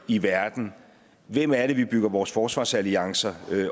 i verden hvem er det vi bygger vores forsvarsalliancer